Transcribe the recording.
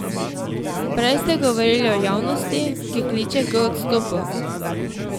Prej ste govorili o javnosti, ki kliče k odstopu.